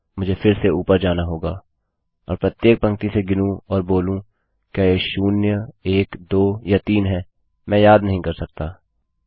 मुझे फिर से सबसे ऊपर जाना होगा और प्रत्येक पंक्ति से गिनूँ और बोलूँ क्या यह शून्य एक दो या तीन हैमैं याद नहीं कर सकता160